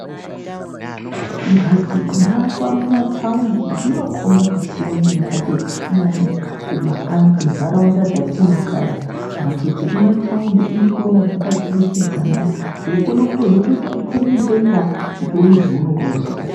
Mhatso dzinoakwa kumathawundi dzinokhomba kusiyana nemhatso dzatinoona kumakanyi, munharaunda dzetinogara. Mhatso dzemumathaundi unoona dzakaturukidzana weitokona kutozoti ukwire mudenga kuti utoona zvaunenge uchida.